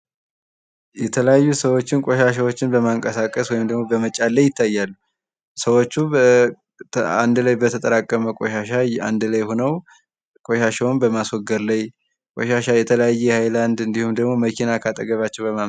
የተለያዩ ሰዎች ቆሻሻዎችን በማንቀሳቀስ ወይም በመጫን ላይ ይታያሉ። ሰዎቹ አንድ ላይ በተጠመቀ ቆሻሻ አንድ ላይ ሁነው ቆሻሻውን በማስወገድ ላይ ቆሻሻ የተለያየ ሃይላንድ እንድሁም ደግሞ መኪና ካጠገባቸው